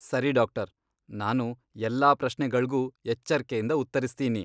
ಸರಿ ಡಾಕ್ಟರ್, ನಾನು ಎಲ್ಲಾ ಪ್ರಶ್ನೆಗಳ್ಗೂ ಎಚ್ಚರ್ಕೆಯಿಂದ ಉತ್ತರಿಸ್ತೀನಿ.